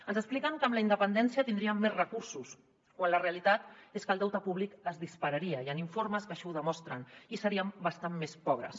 ens expliquen que amb la independència tindríem més recursos quan la realitat és que el deute públic es dispararia hi han informes que així ho demostren i seríem bastant més pobres